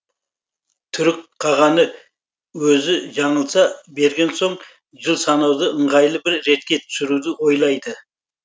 түрік қағаны өзі жаңылса берген соң жыл санауды ыңғайлы бір ретке түсіруді ойлайды